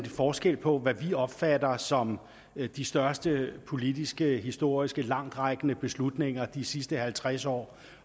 forskel på hvad vi opfatter som de største politiske historiske langtrækkende beslutninger de sidste halvtreds år